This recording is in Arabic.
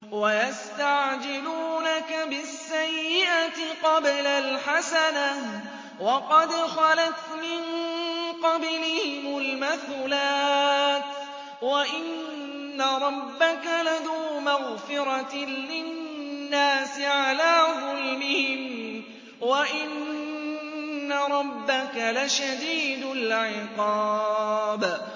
وَيَسْتَعْجِلُونَكَ بِالسَّيِّئَةِ قَبْلَ الْحَسَنَةِ وَقَدْ خَلَتْ مِن قَبْلِهِمُ الْمَثُلَاتُ ۗ وَإِنَّ رَبَّكَ لَذُو مَغْفِرَةٍ لِّلنَّاسِ عَلَىٰ ظُلْمِهِمْ ۖ وَإِنَّ رَبَّكَ لَشَدِيدُ الْعِقَابِ